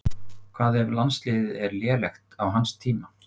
Hvað ef landsliðið er lélegt á hans tíma?